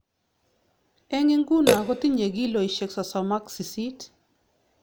eng inguno kotinye kilonik sosom ak sisit